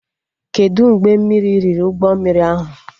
Kedụ mgbe mmiri riri ụgbọ mmiri ahụ?